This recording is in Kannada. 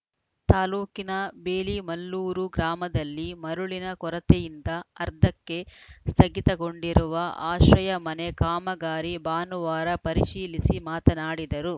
ತಾಲೂಕಿನ ಬೇಲಿಮಲ್ಲೂರು ಗ್ರಾಮದಲ್ಲಿ ಮರಳಿನ ಕೊರತೆಯಿಂದ ಅರ್ಧಕ್ಕೆ ಸ್ಥಗಿತಗೊಂಡಿರುವ ಆಶ್ರಯ ಮನೆ ಕಾಮಗಾರಿ ಭಾನುವಾರ ಪರಿಶೀಲಿಸಿ ಮಾತನಾಡಿದರು